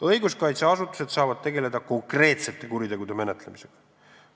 Õiguskaitseasutused saavad menetleda konkreetseid kuritegusid.